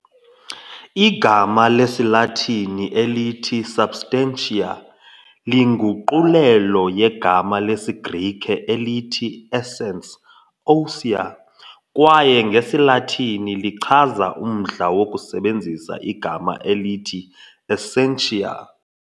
Igama lesiLatini elithi substantia - linguqulelo yegama lesiGrike elithi essence ousia, kwaye ngesiLatini lichaza umdla wokusebenzisa igama elithi essentia.